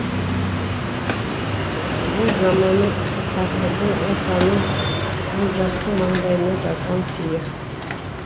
ол заманның тағдырдың ортаның олжастың маңдайына жазған сыйы